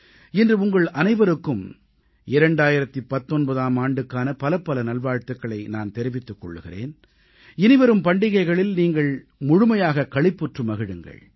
இன்று உங்கள் அனைவருக்கும் 2019ஆம் ஆண்டுக்கான பலப்பல நல்வாழ்த்துக்களை நான் தெரிவித்துக் கொள்கிறேன் இனிவரும் பண்டிகைகளில் நீங்கள் முழுமையாகக் களிப்புற்று மகிழுங்கள்